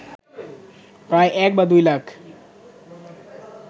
প্রায় এক বা দুই লাখ